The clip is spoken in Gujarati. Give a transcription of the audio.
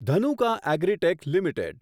Dhanuka agritech limited